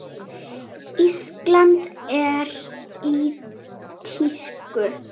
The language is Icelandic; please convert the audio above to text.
Ísland er í tísku.